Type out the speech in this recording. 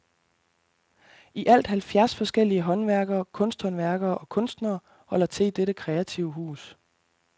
I alt halvfjerds forskellige håndværkere, kunsthåndværkere og kunstnere holder til i dette kreative hus.